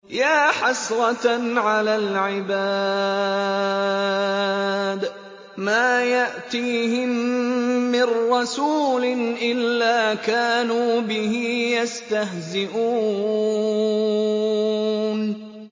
يَا حَسْرَةً عَلَى الْعِبَادِ ۚ مَا يَأْتِيهِم مِّن رَّسُولٍ إِلَّا كَانُوا بِهِ يَسْتَهْزِئُونَ